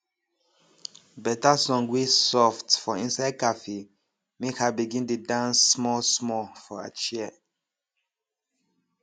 better song wey soft for inside cafe make her begin dey dance small small for her chair